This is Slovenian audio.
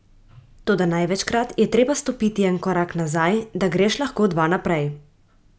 Toda največkrat je treba stopiti en korak nazaj, da greš lahko dva naprej.